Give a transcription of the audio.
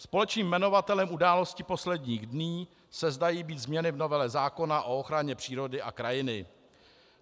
Společným jmenovatelem událostí posledních dní se zdají být změny v novele zákona o ochraně přírody a krajiny.